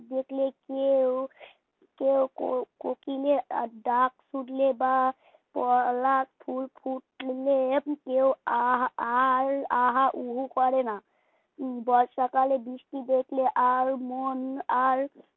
কোকিলের ডাক শুনলে বা ফলা ফুল ফুটলে কেউ আর আল আহা উহু করে না বর্ষাকালে বৃষ্টি দেখলে আর মন আর